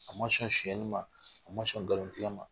A ma sɔn sɔnyɛnni ma , a ma sɔn nkalon tigɛ ma.